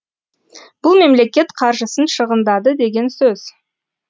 бұл мемлекет қаржысын шығындады деген сөз